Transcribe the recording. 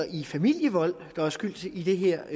i familievold der er skyld i de her